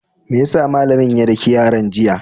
Me ya sa malamin ya daki yaran, jiya?